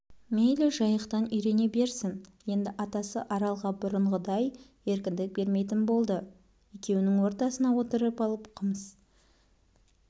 мейлі жайықтан үйрене берсін енді атасы аралға бұрынғыдай еркіндік бермейтін болды екеуінің ортасына отырып алып қымс